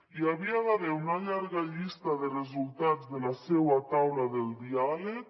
hi havia d’haver una llarga llista de resultats de la seua taula del diàleg